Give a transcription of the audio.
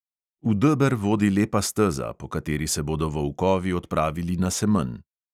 V deber vodi lepa steza, po kateri se bodo volkovi odpravili na semenj.